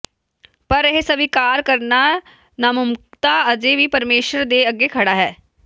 ਪਰ ਇਹ ਸਵੀਕਾਰ ਕਰਨਾ ਨਾਮੁਕੰਮਲਤਾ ਅਜੇ ਵੀ ਪਰਮੇਸ਼ੁਰ ਦੇ ਅੱਗੇ ਖੜ੍ਹਾ ਹੈ